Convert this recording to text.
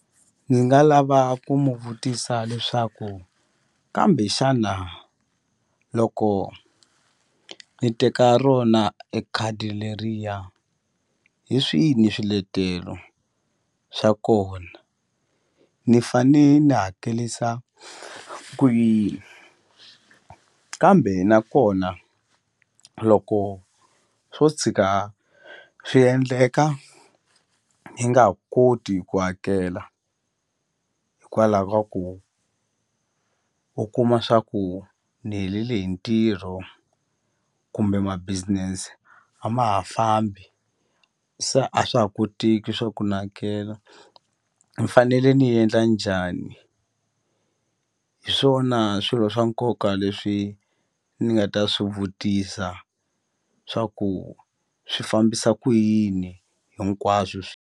Ndzi nga lava ku mu vutisa leswaku kambe xana loko ni teka rona e khadi leriya hi swini swiletelo swa kona ni fane ni hakelisa ku yini kambe nakona loko swo tshika swi endleka ni nga koti ku hakela hikwalaho ka ku u kuma swa ku ni helele hi ntirho kumbe ma-business a ma ha fambi se a swa ha koteki swa ku ni hakela ni fanele ni ni endla njhani hi swona swilo swa nkoka leswi ni nga ta swi vutisa swa ku swi fambisa ku yini hinkwaswo .